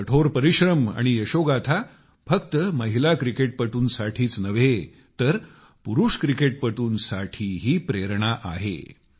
त्यांचे कठोर परिश्रम आणि यशोगाथा फक्त महिला क्रिकेटपटूंसाठीच प्रेरणा नव्हे तर पुरुष क्रिकेटपटूंसाठीही प्रेरणा आहे